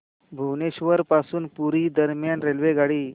भुवनेश्वर पासून पुरी दरम्यान रेल्वेगाडी